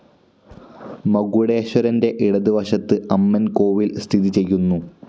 മകുടേശ്വരന്റെ ഇടത് വശത്ത് അമ്മൻ കോവിൽ സ്ഥിതിചെയ്യുന്നു.